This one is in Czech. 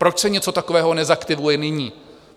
Proč se něco takového nezaktivuje nyní?